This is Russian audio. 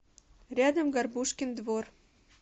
рядом горбушкин двор